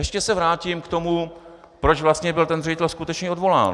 Ještě se vrátím k tomu, proč vlastně byl ten ředitel skutečně odvolán.